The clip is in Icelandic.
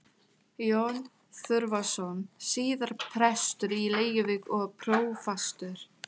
Jón Þorvarðsson, síðar prestur í Reykjavík og prófastur.